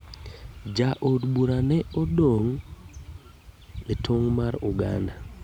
Ja od bura ne odongo e tong' mar Uganda.